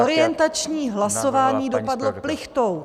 Orientační hlasování dopadlo plichtou.